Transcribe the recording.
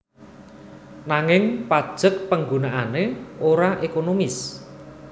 Nanging pajek panggunaané ora ekonomis